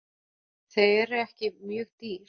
Þau eru ekki mjög dýr.